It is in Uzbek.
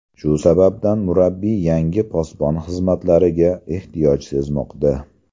Shu sababdan, murabbiy yangi posbon xizmatlariga ehtiyoj sezmoqda.